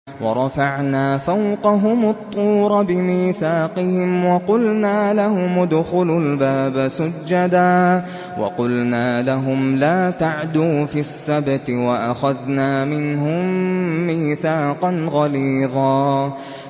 وَرَفَعْنَا فَوْقَهُمُ الطُّورَ بِمِيثَاقِهِمْ وَقُلْنَا لَهُمُ ادْخُلُوا الْبَابَ سُجَّدًا وَقُلْنَا لَهُمْ لَا تَعْدُوا فِي السَّبْتِ وَأَخَذْنَا مِنْهُم مِّيثَاقًا غَلِيظًا